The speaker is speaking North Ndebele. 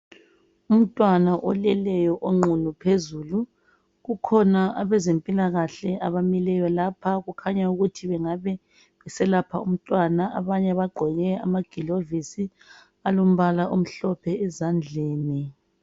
Umntwana oleleyo oqunu phezulu, kukhona abezemphilakahle abamileyo lapha kukhanya ukuthi bangabe beselapha umntwana. Abanye bagqoke amagilavusi alombala omhlophe ezandleni.